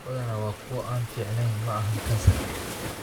Badanaa waa kuwo aan fiicneyn (ma ahan kansar).